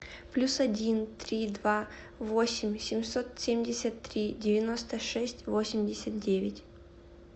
плюс один три два восемь семьсот семьдесят три девяносто шесть восемьдесят девять